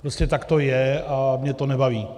Prostě tak to je a mě to nebaví.